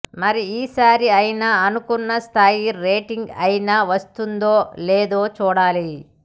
మరి ఈసారి అయినా అనుకున్న స్థాయి రేటింగ్ అయినా వస్తుందో లేదో చూడాలి